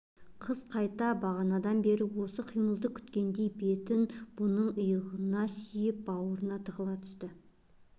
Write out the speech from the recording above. қыз қайта бағанадан бері осы қимылды күткендей бетін бұның иығына сүйеп бауырына тығыла түсті